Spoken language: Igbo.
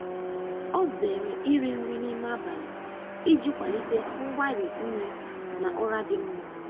Ọ zere iri nri n’ime abalị iji kwalite mgbari nri na ụra dị mma.